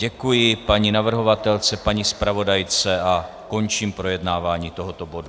Děkuji paní navrhovatelce, paní zpravodajce a končím projednávání tohoto bodu.